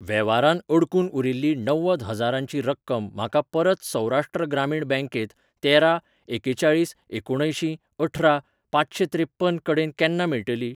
वेव्हारांत अडकून उरिल्ली णव्वद हजारांची रक्कम म्हाका परत सौराष्ट्र ग्रामीण बँकेंत तेरा एकेचाळीस एकुणअंयशीं अठरा पांचशेत्रेप्पन कडेन केन्ना मेळटली?